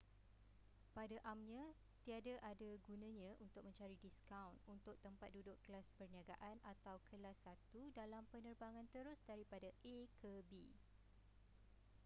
pada amnya tiada ada gunanya untuk mencari diskaun untuk tempat duduk kelas perniagaan atau kelas satu dalam pernerbangan terus daripada a ke b